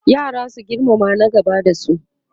yara su girmama na gaba da su